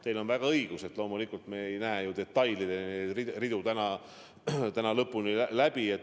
Teil on õigus, loomulikult me ei näe täna detailideni, lõpuni ridu läbi.